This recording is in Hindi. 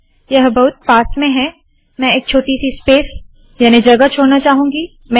यह बहुत पास में है - मैं एक छोटी सी स्पेस याने जगह छोड़ना चाहूंगी